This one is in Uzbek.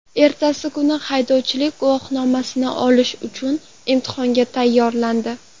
Ertasi kuni haydovchilik guvohnomasini olish uchun imtihonga tayyorlandi.